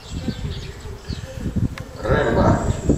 рэмбо